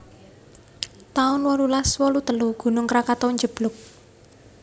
taun wolulas wolu telu Gunung Krakatu njeblug